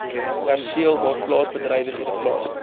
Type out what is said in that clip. perseel waarplaasbedrywighede plaasvind